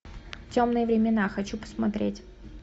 темные времена хочу посмотреть